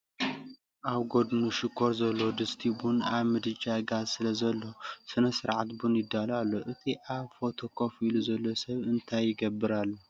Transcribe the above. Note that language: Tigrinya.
ኣብ ጎድኑ ሽኮር ዘለዎ ድስቲ ቡን ኣብ ምድጃ ጋዝ ስለዘሎ፡ ስነ-ስርዓት ቡን ይዳሎ ኣሎ። እቲ ኣብ ፎቶ ኮፍ ኢሉ ዘሎ ሰብ እንታይ ይገብር ኣሎ?